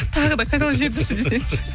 тағы да қайталап жіберіңізші десеңші